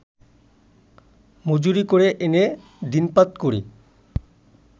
মজুরী করে এনে দিনপাত করি